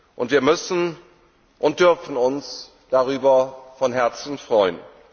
Und wir müssen und dürfen uns darüber von Herzen freuen.